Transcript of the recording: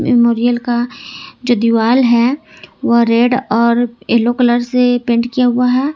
Memorial का जो दीवाल है वह रेड और येलो कलर से पेंट किया हुआ है।